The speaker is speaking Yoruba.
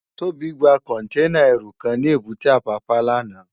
Tobi lò gbá kònténá èrú kán ni ébùté Apapa làná